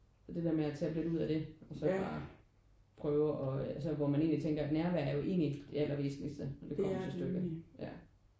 Og det der med at tappe lidt ud af det og så ikke bare prøve og altså hvor man egentlig tænker at nærvær er jo egentlig det aller væsentligste når det kommer til stykket ja